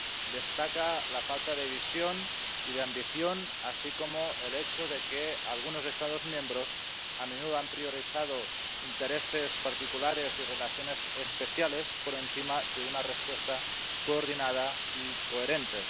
Destaca la falta de visión y de ambición, así como el hecho de que algunos Estados miembros a menudo han priorizado intereses particulares y relaciones especiales por encima de una respuesta coordinada y coherente.